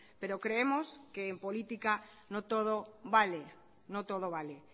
pero creemos que en política no todo vale no todo vale